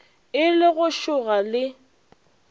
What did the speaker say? e le go šoga le